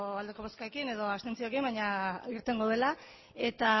aldeko bozkekin edo abstentzioekin baina irtengo dela eta